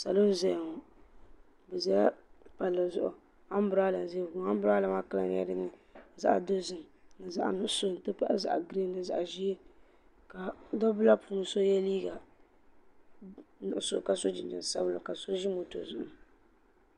Salo n ʒɛya ŋɔ bɛ ʒɛla palli zuɣu ambrada n ʒɛya ŋɔ ambrada maa kala nyɛla zaɣa dozim ni zaɣa nuɣuso n ti pahi zaɣa girin ni zaɣa ʒee ka dabba maa puuni so ye liiga nuɣuso ka so jinjiɛm sabinli ka so ʒi moto zuɣu.